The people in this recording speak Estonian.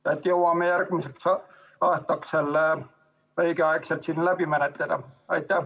Kas jõuame selle järgmiseks aastaks õigeaegselt siin läbi menetleda?